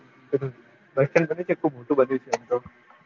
bus stand ખબર છે ખુબ મોટું બંન્યું છે